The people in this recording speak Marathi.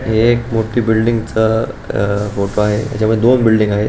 हि एक मोठी बिल्डिंगच अ फोटो आहे याच्यामध्ये दोन बिल्डिंग आहे.